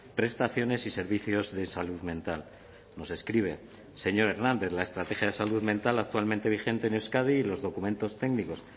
prestaciones y servicios de salud mental nos escribe señor hernández la estrategia de salud mental actualmente vigente en euskadi y los documentos técnicos